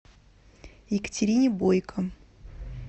екатерине бойко